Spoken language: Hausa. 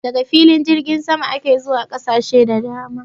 Daga filin jirgin sama ake zuwa ƙasashe da dama